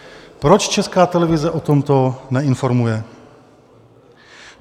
Proč Česká televize o tomto neinformuje?